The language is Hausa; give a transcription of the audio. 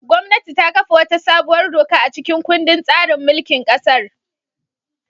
Gwamnati ta kafa wata sabuwar doka a cikin kundin tsarin mulkin kasar.